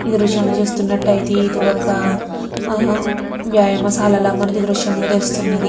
ఈ దృశ్యాన్ని చూస్తున్నట్టయితే ఇది ఒక ఆ వ్యాయామశాలలా మనకీ దృశ్యం లో తెలుస్తున్నది.